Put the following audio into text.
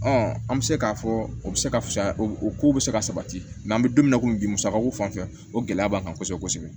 an bɛ se k'a fɔ o bɛ se ka fisaya o kow bɛ se ka sabati mɛ an bɛ don min na komi bi musakaw fan fɛ o gɛlɛya b'an kan kosɛbɛ kosɛbɛ